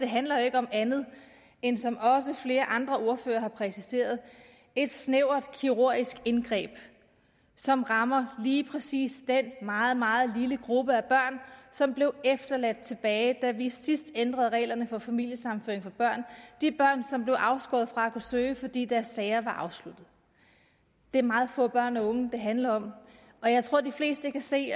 handler jo ikke om andet end som også flere andre ordførere har præciseret et snævert kirurgisk indgreb som rammer lige præcis den meget meget lille gruppe af børn som blev ladt tilbage da vi sidst ændrede reglerne for familiesammenføring for børn nemlig de børn som blev afskåret fra at kunne søge fordi deres sager var afsluttet det er meget få børn og unge det handler om og jeg tror de fleste kan se